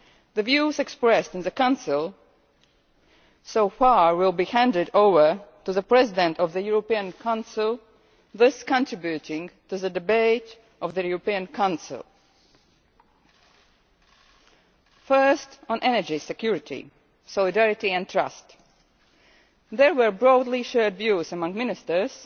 The views expressed in the Council so far will be handed over to the President of the European Council thus contributing to the debate of the European Council. First, on energy security, solidarity and trust, there were broadly-shared views among Ministers